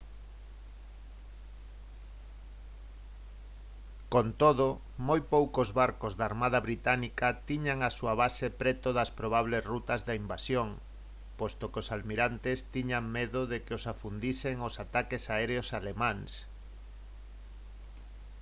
con todo moi poucos barcos da armada británica tiñan a súa base preto das probables rutas de invasión posto que os almirantes tiñan medo de que os afundisen os ataques aéreos alemáns